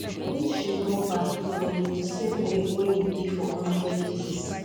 um if you go back e go be di um same way wey e bin be for one hundred years